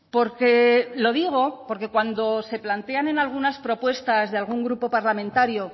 porque lo digo porque cuando se plantean en algunas propuestas de algún grupo parlamentario